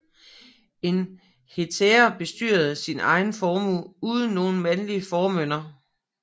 En hetære bestyrede sin egen formue uden nogen mandlig formynder